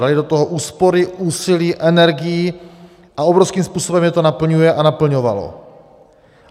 Dali do toho úspory, úsilí, energii a obrovským způsobem je to naplňuje a naplňovalo.